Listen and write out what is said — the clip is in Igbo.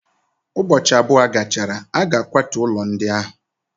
Ụbọchị abụọ gachara, a ga-akwatu ụlọ ndị ahụ.